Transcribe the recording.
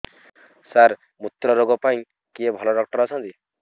ସାର ମୁତ୍ରରୋଗ ପାଇଁ କିଏ ଭଲ ଡକ୍ଟର ଅଛନ୍ତି